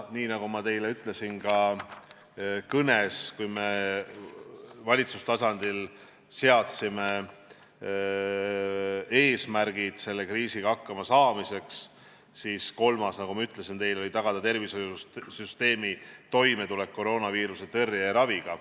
Nii nagu ma teile ütlesin ka kõnes, et kui me valitsustasandil seadsime eesmärgid selle kriisiga hakkamasaamiseks, siis kolmas neist oli tagada tervishoiusüsteemi toimetulek koroonaviiruse tõrje ja raviga.